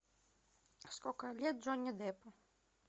сколько лет джонни деппу